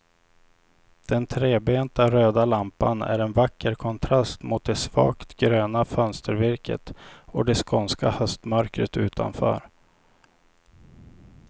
Den trebenta röda lampan är en vacker kontrast mot det svagt gröna fönstervirket och det skånska höstmörkret utanför.